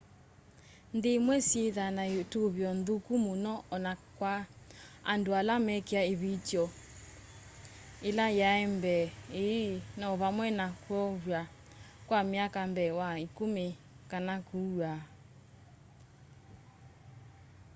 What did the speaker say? nthĩ ĩmwe syĩthaa na ĩtũvĩo nthũkũ mũno ona kwa andũ ala mekĩe ĩvĩtyo ĩla yambee ĩĩ no vamwe na kwovwa kwa myaka mbee wa ĩkũmĩ kana kũawa